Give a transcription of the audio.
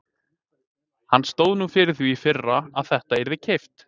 Hann stóð nú fyrir því í fyrra að þetta yrði keypt.